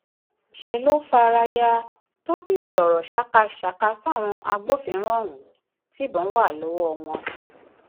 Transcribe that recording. ṣe ló fara ya tó sì sọrọ ṣàkàṣàkà sáwọn agbófinró ohun tibọn wà lọwọ wọn